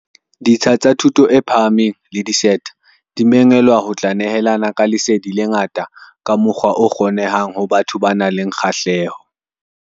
Ditsha tsa thuto e phahameng le di-SETA di mengwelwa ho tla nehelana ka lesedi le nga-ta ka mokgwa o kgonehang ho batho ba nang le kgahleho.